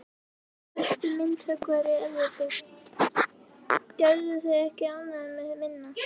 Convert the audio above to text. Besti myndhöggvari Evrópu, gerðu þig ekki ánægða með minna.